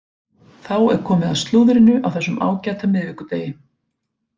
Þá er komið að slúðrinu á þessum ágæta miðvikudegi.